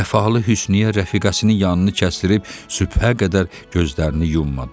Vəfalı Hüsniyyə rəfiqəsinin yanını kəsdirməyib sübhə qədər gözlərini yummadı.